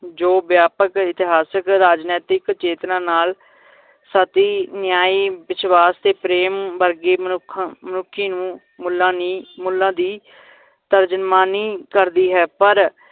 ਜੋ ਵਿਆਪਕ, ਇਤਿਹਾਸਿਕ, ਰਾਜਨੈਤਿਕ ਚੇਤਨਾ ਨਾਲ ਸਤੀ ਨ੍ਯਾਈਂ ਵਿਸ਼ਵਾਸ ਤੇ ਪ੍ਰੇਮ ਵਰਗੀ ਮਨੁੱਖ ਮਨੁੱਖੀ ਨੂੰ ਮੁੱਲਾ ਨੀ ਮੁੱਲਾਂ ਦੀ ਧਰਜਨਮਾਨੀ ਕਰਦੀ ਹੈ ਪਰ